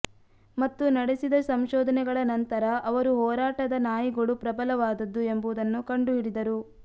ಮತ್ತು ನಡೆಸಿದ ಸಂಶೋಧನೆಗಳ ನಂತರ ಅವರು ಹೋರಾಟದ ನಾಯಿಗಳು ಪ್ರಬಲವಾದದ್ದು ಎಂಬುದನ್ನು ಕಂಡುಹಿಡಿದರು